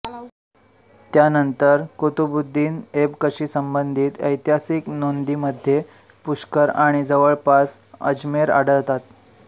त्यानंतर कुतुबउददीन एबकशी संबंधित ऐतिहासिक नोंदींमध्ये पुष्कर आणि जवळपास अजमेर आढळतात